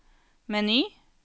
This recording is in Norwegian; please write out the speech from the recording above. meny